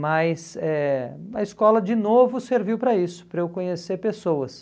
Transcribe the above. Mas eh a escola, de novo, serviu para isso, para eu conhecer pessoas.